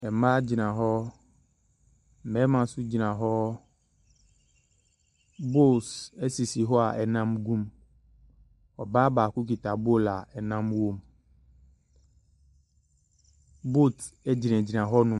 Mmaa gyina hɔ, mmarima nso gyina hɔ. Bowls sisi hɔ a nnam gu mu. Ɔbaa baako kita bowl a nnam wom. Boat gyinagyina hɔnom.